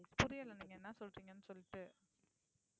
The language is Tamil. புரியல நீங்க என்ன சொல்றீங்கன்னு சொல்லிட்டு